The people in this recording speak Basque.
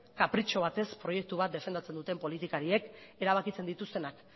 kapritxo bat ez proiektu bat defendatzen duen politakariek erabakitzen dituztenak